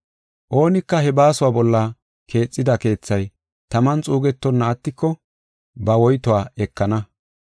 Oonika he baasuwa bolla keexida keethay taman xuugetonna attiko, ba woytuwa ekana.